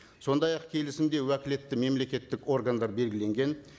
сондай ақ келісімде уәкілетті мемлекеттік органдар белгіленген